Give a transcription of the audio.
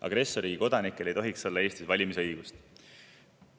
Agressorriigi kodanikel ei tohiks olla Eestis valimisõigust.